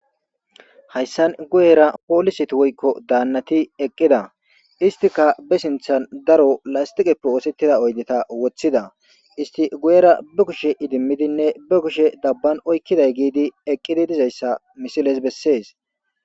Hayssan guyeera polisethi woykko daannathi eqqida; isththika be sinththan daro lasththiqeppe ooseththida oydetha woththida; isssi gu7eera duge sheeqidimmidenne ba kushen xam7an oykkiday giidi eqqidi dizayssa ha misilee bessees.